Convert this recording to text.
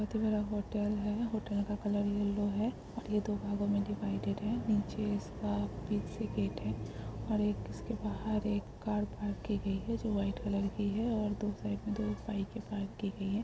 Hotel है hotel का colour yellow है और ये दो भागों मे डिवाइडेड है नीचे इस का फिक्स गेट है और एक उस के बहार एक कर पार्क की गई है जो वाट कलर की है और दो साइक मे दो बाइक पार्क की गई है ।